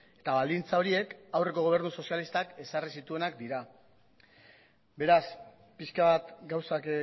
eta baldintza horiek aurreko gobernu sozialistak ezarri zituenak dira beraz pixka bat gauzak